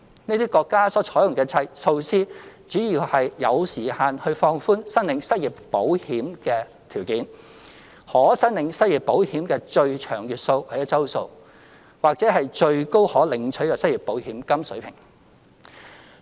這些國家採用的措施，主要有時限地放寬申領失業保險的條件、可申領失業保險的最長月數或周數，或最高可領取的失業保險金水平。